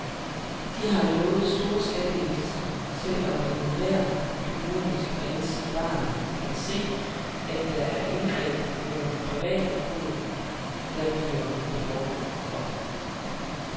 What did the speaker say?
De har lovet store skattelettelser, selv om enhver økonomisk ansvarlig kan se, at det er indgreb mod privatforbruget, der bliver behov for.